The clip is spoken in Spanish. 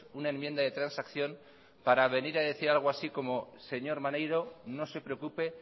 una enmienda de transacción para venir a decir algo así como señor maneiro no se preocupe